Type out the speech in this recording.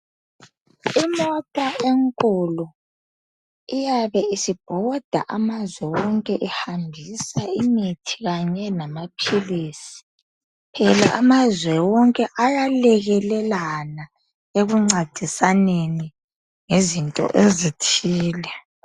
Imota enkulu iyabe isibhoda amazwe wonke ihambisa imithi kanye lamaphilisi, phela amazwe wonke ayalekelelana ekuncedisaneni ngezinto ezithile.